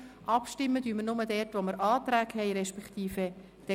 Abstimmen würden wir nur dort, wo Anträge vorliegen.